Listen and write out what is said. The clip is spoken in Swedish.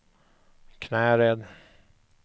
Knäred